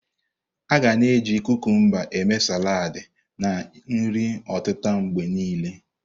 A ga na eji kukumba eme saladi na nri otita mgbe niile.